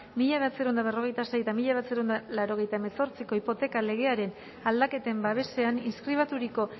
mila bederatziehun eta berrogeita sei eta mila bederatziehun eta laurogeita hemezortziko hipoteka legearen aldaketen babesean inskribaturiko